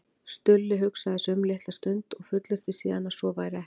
Stulli hugsaði sig um litla stund og fullyrti síðan að svo væri ekki.